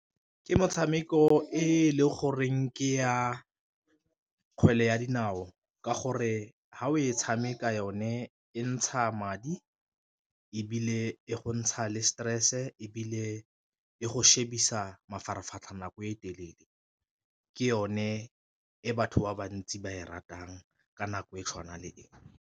Ke motshameko e leng goreng ke ya kgwele ya dinao ka gore ha o e tshameka yone e ntsha madi, ebile e go ntsha le stress-e, ebile e go shebisa mafaratlhatlha nako e telele. Ke yone e batho ba bantsi ba e ratang ka nako e tshwana le e.